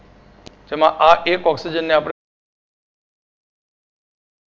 જેમાં આ એક oxygen ને આપડે